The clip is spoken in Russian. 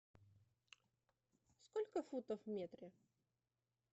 сколько футов в метре